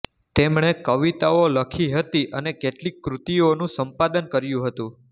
તેમણે કવિતાઓ લખી હતી અને કેટલીક કૃતિઓનું સંપાદન કર્યું હતું